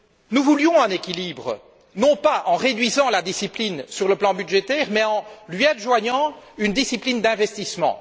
Nous voulions un équilibre, non pas en réduisant la discipline budgétaire, mais en lui adjoignant une discipline d'investissement.